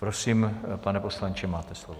Prosím, pane poslanče, máte slovo.